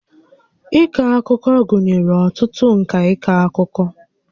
Ịkọ akụkọ gụnyere ọtụtụ ǹkà ịkọ akụkọ